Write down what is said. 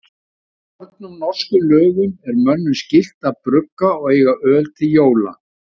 Í fornum norskum lögum er mönnum skylt að brugga og eiga öl til jóla.